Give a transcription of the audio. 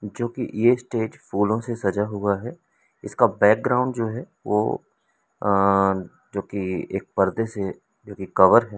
जो कि यह स्टेज फूलों से सजा हुआ है इसका बैकग्राउंड जो है वो अह जो कि एक पर्दे से जो कि कवर है।